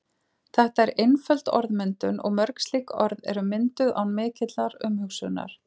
Þetta er einföld orðmyndun og mörg slík orð eru mynduð án mikillar umhugsunar.